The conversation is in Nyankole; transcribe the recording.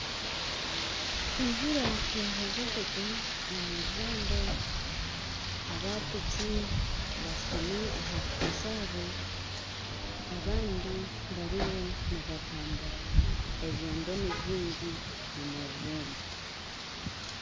Enjura yaheeza kugwa omu rurembo aba piiki bashutami aha piiki zaabo abandi bariyo nibatambura ebyoondo nibyingi omu rurembo